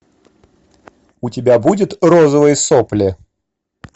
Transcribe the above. у тебя будет розовые сопли